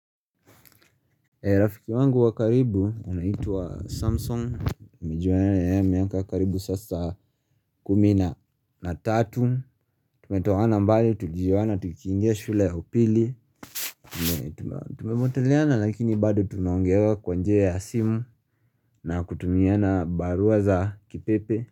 Rafiki wangu wa karibu unaitwa Samson, nimejiuana na yeye miaka karibu sasa kumi na na tatu tumetoana mbali, tujiwana, tukiingia shule ya upili Tumepoteleana lakini baado tunaongeanga kwa njia ya simu na kutumiana barua za kipepe.